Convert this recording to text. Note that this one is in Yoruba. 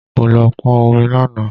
Mo lọ pọn omi lánàá